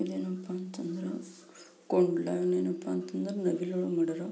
ಇದೇನಪ್ಪ ಅಂತಂದ್ರೆ ಕೋವಿಡ ಏನಪ್ಪಾ ಅಂತಂದ್ರೆ .]